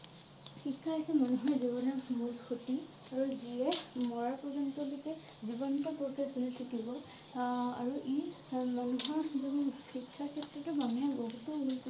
শিক্ষা হৈছে মানুহৰ জীৱনৰ মূল সুঁতি আৰু যিয়ে মৰাৰ পৰ্যন্ত লৈকে জীৱন্ত থাকিব আহ আৰু ই মানুহৰ জুন শিক্ষাৰ ক্ষেত্ৰটো মানুহে বহুতো